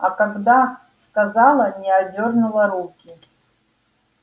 а когда сказала не отдёрнула руки